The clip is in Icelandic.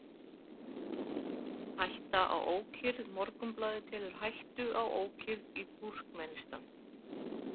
Hætta á ókyrrð Morgunblaðið telur „hættu á ókyrrð“ í Túrkmenistan.